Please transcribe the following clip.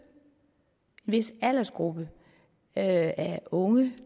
vis aldersgruppe af unge